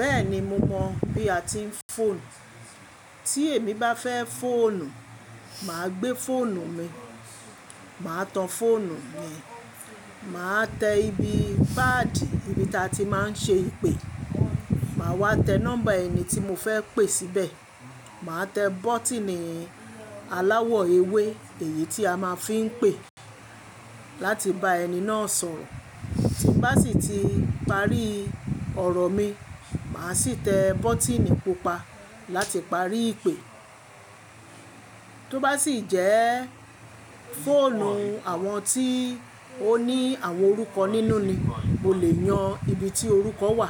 Bẹ́ẹ̀ni mo mọ̀ bí a ti ń fọ̀nù. Tí èmi bá fẹ́ fọ̀nù, màá gbé fóònù mi, màá tan fóònù mi, màá tẹ ibi paadi ibi ta tí máa ń ṣe ìpè, màá wá tẹ nọ́mbà ẹni tí mo fẹ́ pè síbẹ̀, màá tẹ bọ́tíìnì aláwọ̀ ewé èyí tí a máa fi ń pè láti bá ẹni náà sọ̀rọ̀. Tí n bá sì ti parí ọ̀rọ̀ mi, màá sì tẹ bọ́tíìnì pupa láti parí ìpè. Tó bá sì jẹ́ fóònù àwọn tí ó ní àwọn orúkọ nínú ni, mo lè yan ibi tí orúkọ wà